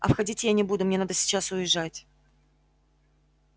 а входить я не буду мне надо сейчас уезжать